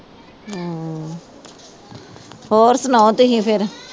ਹਾਂ ਹੋਰ ਸੁਣਾਓ ਤੁਸੀਂ ਫਿਰ।